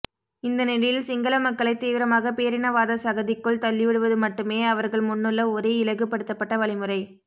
இந்த நிலையில் சிங்கள மக்களை தீவிரமாக பேரினவாத சகதிக்குள் தள்ளிவிடுவது மட்டுமே அவர்கள் முன்னுள்ள ஒரே இலகுபடுத்தப்பட்ட வழிமுறை